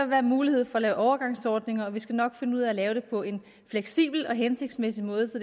være mulighed for at lave overgangsordninger og vi skal nok finde ud af at lave det på en fleksibel og hensigtsmæssig måde så